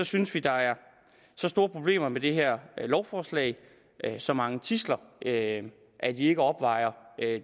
synes vi der er så store problemer med det her lovforslag så mange tidsler at at de ikke opvejer